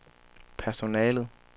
personalet